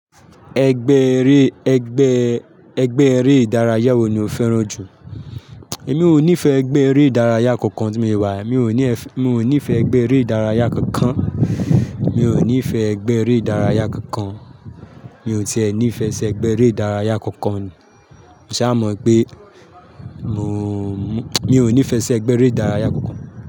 Ẹgbẹ́ eré, ẹgbẹ́, ẹgbẹ́ eré ìdárayá wo ni o fẹ́ràn jù? Èmi ò nífẹ̀ẹ́ ẹgbẹ́ eré ìdárayá kankan tí mo se wà yii, mi ò ní, mi ò nífẹ̀ẹ́ ẹgbẹ́ eré ìdárayá kankan. Mi ò nífẹ̀ẹ́ ẹgbẹ́ eré ìdárayá kankan. Mi ò tiẹ́ ní ìfẹ́ sí ẹgbẹ́ eré ìdárayá kankan. Mo sa mọ̀ wipé mo, mi ò nífẹ̀ẹ́ sí ẹgbẹ́ eré ìdárayá kankan.